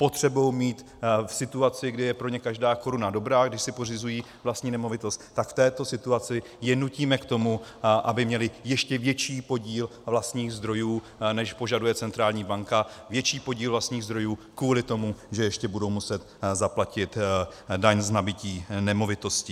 Potřebují mít v situaci, kdy je pro ně každá koruna dobrá, když si pořizují vlastní nemovitost, tak v této situaci je nutíme k tomu, aby měli ještě větší podíl vlastních zdrojů, než požaduje centrální banka, větší podíl vlastních zdrojů kvůli tomu, že ještě budou muset zaplatit daň z nabytí nemovitosti.